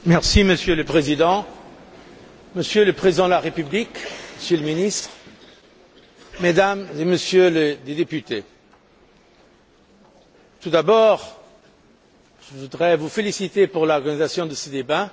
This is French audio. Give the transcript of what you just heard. Monsieur le Président, Monsieur le Président de la République, Monsieur le Ministre, Mesdames et Messieurs les députés, tout d'abord, je voudrais vous féliciter pour l'organisation de ce débat.